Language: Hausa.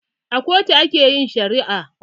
A kotu a ke yin shari'a